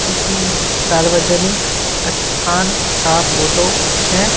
किसी सार्वजनिक स्थान का फोटो है।